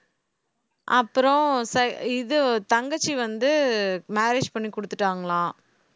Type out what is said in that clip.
அப்புறம் ச~ இது தங்கச்சி வந்து marriage பண்ணி கொடுத்துட்டாங்களாம்